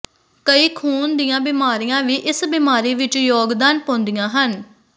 ਕਈ ਖੂਨ ਦੀਆਂ ਬਿਮਾਰੀਆਂ ਵੀ ਇਸ ਬਿਮਾਰੀ ਵਿੱਚ ਯੋਗਦਾਨ ਪਾਉਂਦੀਆਂ ਹਨ